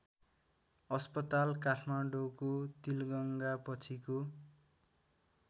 अस्पताल काठमाडौँको तिलगङ्गापछिको